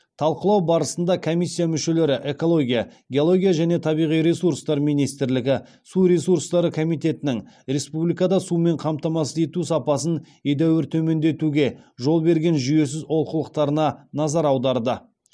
талқылау барысында комиссия мүшелері экология геология және табиғи ресурстар министрлігі су ресурстары комитетінің республикада сумен қамтамасыз ету сапасын едәуір төмендетуге жол берген жүйесіз олқылықтарына назар аударды